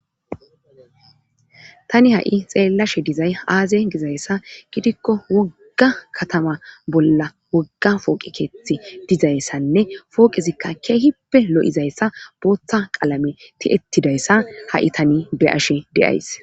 Tani ha'i xeellashe dizay aaze gizayssa gidikko wogga katama bolla wogga fooqi keethi dizayssanne fooqezikka keehippe lo7izayssa booththa qalame ti'ettidayssa ha'i tani be ashe deays.